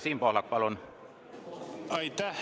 Siim Pohlak, palun!